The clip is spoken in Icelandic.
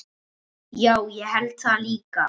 Já, ég held það líka.